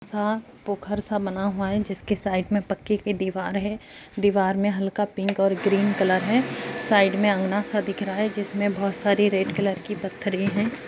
यहाँ पोखर सा बना हुआ है । जिसकी साइड मे पक्के की दिवार है । दिवार मे हल्का पिंक और ग्रीन कलर है साइड मे आंगना सा दिख रहा है । जिसमे बहोत सारी रेड कलर की पत्थरे हैं ।